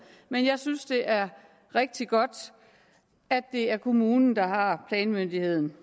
men jeg synes det er rigtig godt at det er kommunen der har planmyndigheden